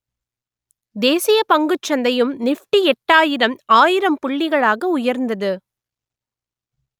தேசிய பங்குச் சந்தையும் நிப்டி எட்டாயிரம் ஆயிரம் புள்ளிகளாக உயர்ந்தது